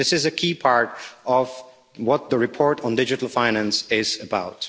This is a key part of what the report on digital finance is about.